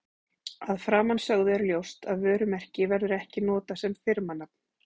Af framansögðu er ljóst að vörumerki verður ekki notað sem firmanafn.